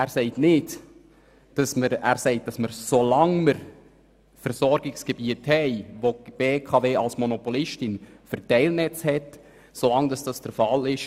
Er sagt, wir würden nichts veräussern, solange wir Versorgungsgebiete haben, wo die BKW als Monopolistin Verteilnetze hat.